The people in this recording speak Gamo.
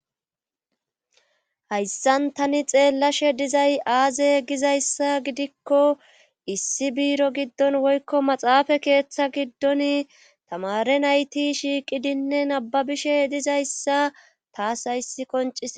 Hayssan tani xeellashe dizay aaze gizayssa gidikko issi biiro giddon woykko maxaafa keeththa giddon tamare nayti shiiqidinne nababishe dizayssa taas hayssi koncis